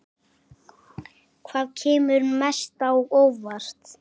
Hvaða kemur mest á óvart?